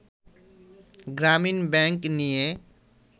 গ্রামীন ব্যাংক নিয়ে